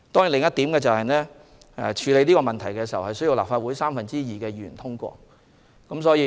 另一方面，處理此問題需要立法會三分之二議員支持。